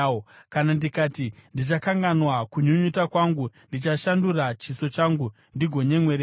Kana ndikati, ‘Ndichakanganwa kunyunyuta kwangu, ndichashandura chiso changu, ndigonyemwerera,’